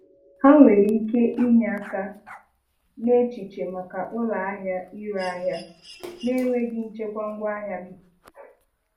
Ha nwere ike inye aka n'echiche maka ụlọahịa ire ahịa n'enweghị nchekwa ngwaahịa gị.